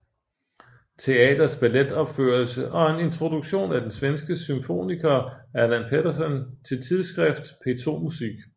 Teaters balletopførelse og en introduktion af den svenske symfoniker Allan Pettersson til tidsskriftet P2Musik